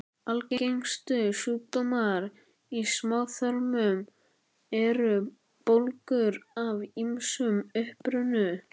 Algengustu sjúkdómar í smáþörmum eru bólgur af ýmsum uppruna.